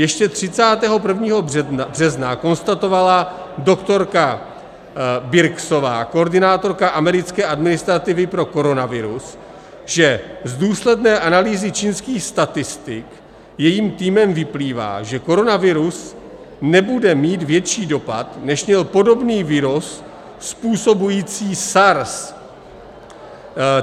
Ještě 31. března konstatovala doktorka Birxová, koordinátorka americké administrativy pro koronavirus, že z důsledné analýzy čínských statistik jejím týmem vyplývá, že koronavirus nebude mít větší dopad, než měl podobný virus způsobující SARS.